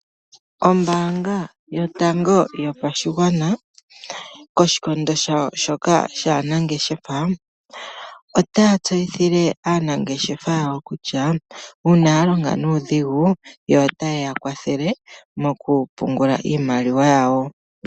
Ombaanga yotango yopashigwana, koshikondo shawo shoka shaanangeshefa . Otaya tseyithile aanangeshefa yawo, kutya ngele oya longo nuudhigu otaya vulu okuya kwathele mokupungudula iimaliwa yawo.